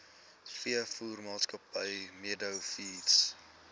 veevoermaatskappy meadow feeds